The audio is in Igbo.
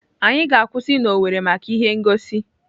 Anyị ga-akwụsị na Owerri maka ihe ngosi.